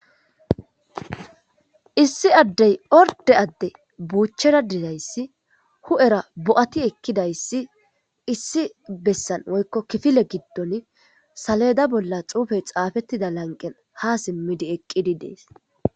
Issi addey orde adde buuchchera dizayssi hu'era bo'ati ekkidayssi issi bessan woykko kifile giddon saleeda bolla xuufey xaafettida lanqen ha simmidi eqqidi dees.